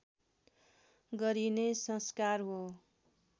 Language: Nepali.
गरिने संस्कार हो